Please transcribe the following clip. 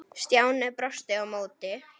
Stjáni brosti á móti.